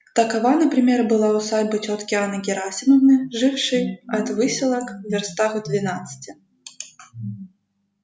такова например была усадьба тётки анны герасимовны жившей от выселок вёрстах в двенадцати